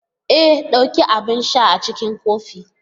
E! dauki abin sha a cikin kofin.